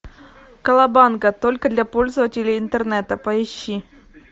колобанга только для пользователей интернета поищи